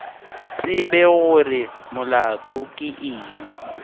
tsebe gore molato ke eng